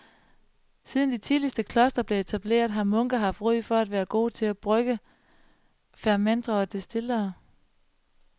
Siden de tidligste klostre blev etableret har munke haft ry for at være gode til at brygge, fermentere og destillere.